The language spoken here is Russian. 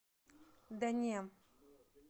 да не